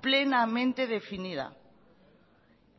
plenamente definida